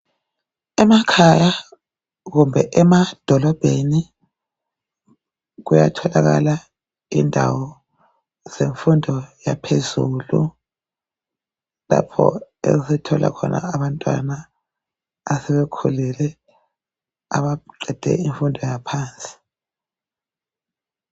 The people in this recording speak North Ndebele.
Emakhaya kumbe emadolobheni kuyatholakala indawo zenfundo yaphezulu. Lapho esithola khona abantwana asebekhulile abaqede infundo yaphansi.